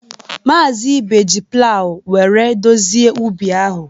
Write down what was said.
Maazị Ibe ji plawu were dozie ubi ahụ.